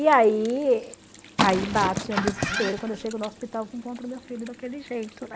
E aí aí bate um desespero quando eu chego no hospital e encontro meu filho daquele jeito, né?